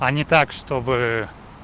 а не так чтобы